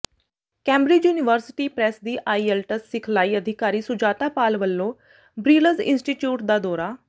Cambridge University Press ਦੀ IELTS ਸਿਖਲਾਈ ਅਧਿਕਾਰੀ ਸੁਜਾਤਾ ਪਾਲ ਵਲੋਂ ਬਰਿਲਜ਼ ਇੰਸਟੀਚਿਊਟ ਦਾ ਦੌਰਾ